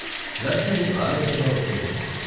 లచ్మీ ఆలస్యంగా వచ్చింది.